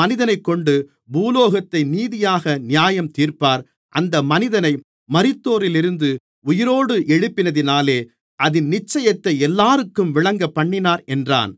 மனிதனைக்கொண்டு பூலோகத்தை நீதியாக நியாயந்தீர்ப்பார் அந்த மனிதனை மரித்தோரிலிருந்து உயிரோடு எழுப்பினதினாலே அதின் நிச்சயத்தை எல்லோருக்கும் விளங்கப்பண்ணினார் என்றான்